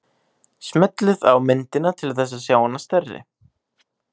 Smellið á myndina til þess að sjá hana stærri.